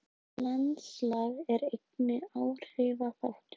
Landslag er einnig áhrifaþáttur.